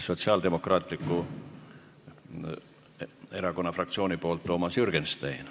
Sotsiaaldemokraatliku Erakonna fraktsiooni nimel Toomas Jürgenstein.